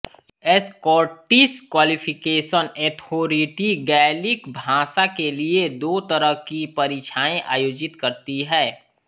Scottish qualification authority Gaelic भाषा के लिये दो तरह की परीक्षाएँ आयोजित करती है